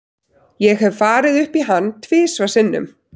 Ég hef farið upp í hann tvisvar sinnum.